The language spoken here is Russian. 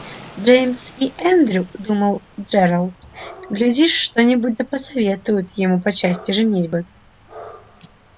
джеймс и эндрю думал джералд глядишь что-нибудь да посоветуют ему по части женитьбы